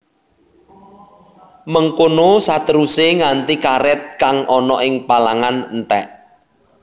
Mengkono saterusé nganti karèt kang ana ing palangan entèk